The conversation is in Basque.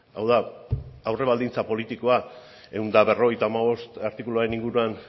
hau da aurre baldintza politikoa ehun eta berrogeita hamabost artikuluaren inguruan